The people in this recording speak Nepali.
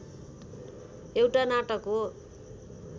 एउटा नाटक हो